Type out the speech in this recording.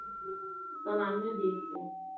তাহলে আমিও দেখবো